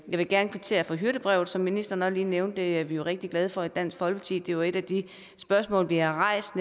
jeg vil gerne kvittere for hyrdebrevet som ministeren lige nævnte det er vi rigtig glade for i dansk folkeparti det er et af de spørgsmål vi har rejst